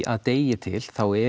að degi til þá